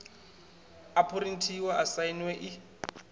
a phurinthiwa i sainwe i